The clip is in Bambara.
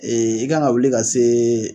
i kan ŋa wuli ka see